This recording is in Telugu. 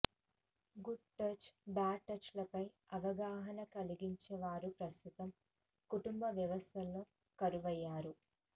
గుడ్ టచ్ బాడ్ టచ్ లపై అవగాహన కలిగించే వారు ప్రస్తుత కుటుంబ వ్యవస్థలో కరువయ్యారు